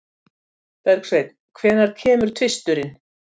Bergsveinn, hvenær kemur tvisturinn?